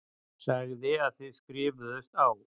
Sagði að þið skrifuðust á.